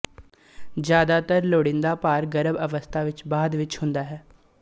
ਜ਼ਿਆਦਾਤਰ ਲੋੜੀਂਦਾ ਭਾਰ ਗਰਭ ਅਵਸਥਾ ਵਿੱਚ ਬਾਅਦ ਵਿੱਚ ਹੁੰਦਾ ਹੈ